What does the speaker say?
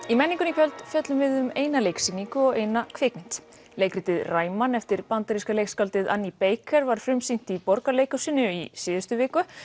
í menningunni í kvöld fjöllum við um eina leiksýningu og eina kvikmynd leikritið Ræman eftir bandaríska leikskáldið Annie Baker var frumsýnt í Borgarleikhúsinu í síðustu viku